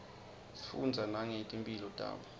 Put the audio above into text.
sifundza nangeti mphilo tabo